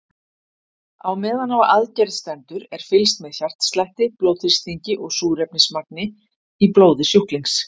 Á meðan á aðgerð stendur er fylgst með hjartslætti, blóðþrýstingi og súrefnismagni í blóði sjúklings.